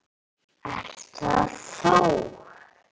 Ert það þú?